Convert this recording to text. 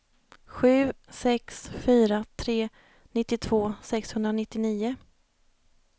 sju sex fyra tre nittiotvå sexhundranittionio